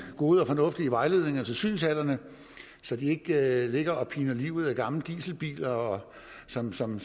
gode og fornuftige vejledninger til synshallerne så de ikke ligger og piner livet af gamle dieselbiler som som